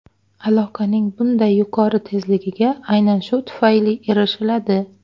Aloqaning bunday yuqori tezligiga aynan shu tufayli erishiladi.